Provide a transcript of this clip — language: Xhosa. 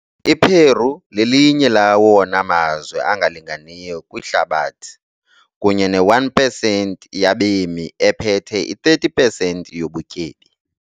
I-Peru lelinye lawona mazwe angalinganiyo kwihlabathi, kunye ne-1 pesenti yabemi ephethe i-30 pesenti yobutyebi.